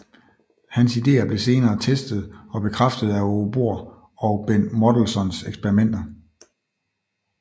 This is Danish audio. Hans ideer blev senere testet og bekræftet af Aage Bohr og Ben Mottelsons eksperimenter